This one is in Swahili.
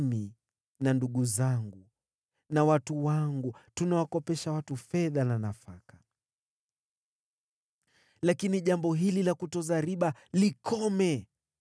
Mimi na ndugu zangu na watu wangu tunawakopesha watu fedha na nafaka. Lakini jambo hili la kutoza riba likome!